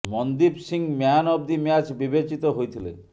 Mandeep Singh man of the match ବିବେଚିତ ହୋଇଥିଲେ